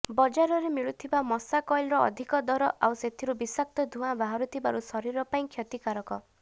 ବଜାରରେ ମିଳୁଥିବା ମଶା କଏଲର ଅଧିକ ଦର ଆଉ ସେଥିରୁ ବିଷାକ୍ତ ଧୂଆଁ ବାହାରୁଥିବାରୁ ଶରୀର ପାଇଁ କ୍ଷତିକାରକ